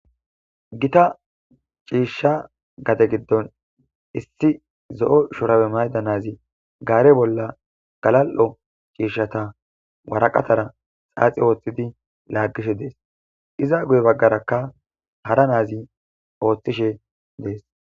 Gita ciishsha gate giddon issi zo7o shorawe mayda nazi gaare bolla galal,o ciishshata waraqatara xaaxi ooththidi laaggishe dees iza guye baggarakka hara naazi ooththishe dees.